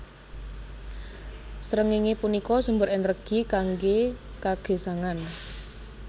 Srengéngé punika sumber ènèrgi kanggé kagesangan